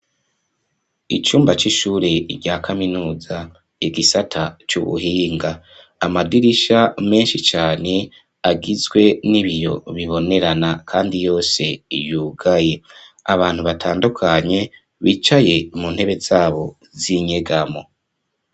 Icumba c'ishure rya kaminuza egisata c'ubuhinga amadirisha menshi cane agizwe n'ibiyo bibonerana, kandi yose yugaye abantu batandukanye bicaye mu ntebe zabo zinyegamo.